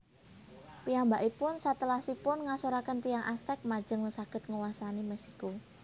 Piyambakipun satelasipun ngasoraken tiyang Aztec lajeng saged nguwasani Meksiko